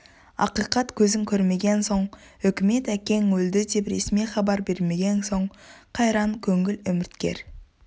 ақиқат көзің көрмеген соң үкімет әкең өлді деп ресми хабар бермеген соң қайран көңіл үміткер